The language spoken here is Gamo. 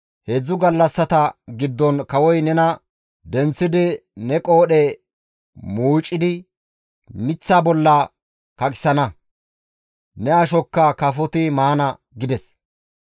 Heedzdzu gallassata giddon kawoy nena denththidi ne qoodhe muucidi miththa bolla kaqisana; ne ashokka kafoti maana» gides.